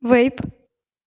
вейп